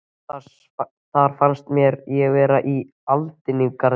Þar fannst mér ég vera í aldingarðinum